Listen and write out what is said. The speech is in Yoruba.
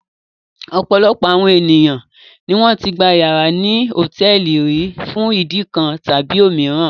Ọ̀pọ̀lọpọ̀ àwọn ènìyàn ni wọ́n ti gba ìyàrá ní hòtẹ́ẹ́lì rí fún ìdí kan tàbí òmíràn.